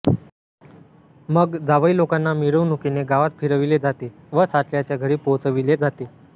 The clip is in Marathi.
मग जावईलोकांना मिरवणुकीने गावात फिरविले जाते व सासऱ्याच्या घरी पोहचविले जाते